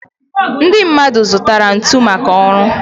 Ndị mmadụ zụtara ntu maka ọrụ.